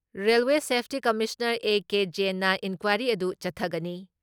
Railway safety commissioner A. ꯖ꯭ꯌꯦꯟꯅ inquiry ꯑꯗꯨ ꯆꯠꯊꯒꯅꯤ